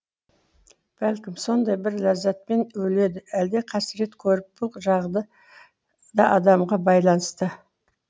бәлкім сондай бір ләззатпен өледі әлде қасірет көріп бұл жағды да адамға байланысты